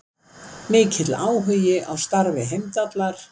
Mikill áhugi á starfi Heimdallar